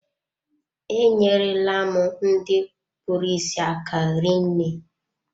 E nyere la m ndị kpụrụ isi aka rinne.